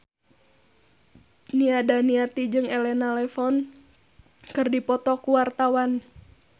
Nia Daniati jeung Elena Levon keur dipoto ku wartawan